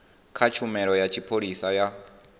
kha tshumelo ya tshipholisa ya